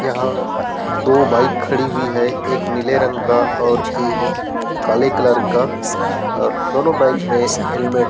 यहाँ दो बाइक खड़ी हुई है एक नीले रंग का और एक काले कलर का और दोनों बाइक में हेलमेट --